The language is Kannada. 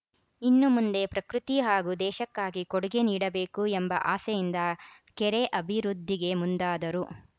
ಇನ್ನು ಮುಂದೆ ಪ್ರಕೃತಿ ಹಾಗೂ ದೇಶಕ್ಕಾಗಿ ಕೊಡುಗೆ ನೀಡಬೇಕು ಎಂಬ ಆಸೆಯಿಂದ ಕೆರೆ ಅಭಿವೃದ್ಧಿಗೆ ಮುಂದಾದರು